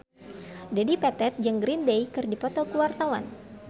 Dedi Petet jeung Green Day keur dipoto ku wartawan